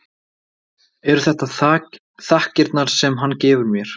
Eru þetta þakkirnar sem hann gefur mér?